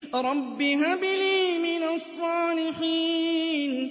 رَبِّ هَبْ لِي مِنَ الصَّالِحِينَ